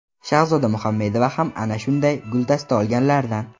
Shahzoda Muhammedova ham ana shunday guldasta olganlardan.